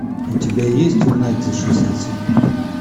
у тебя есть угнать за шестьдесят секунд